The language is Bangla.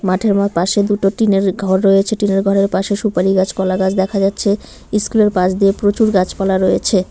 মাঠের মো পাশে দুটো টিনের ঘর রয়েছে টিনের ঘরের পাশে সুপারি গাছ কলা গাছ দেখা যাচ্ছে স্কুল -এর পাশ দিয়ে প্রচুর গাছপালা রয়েছে।